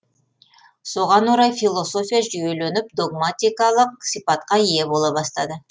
соған орай философия жүйеленіп догматикалық сипатқа ие бола бастады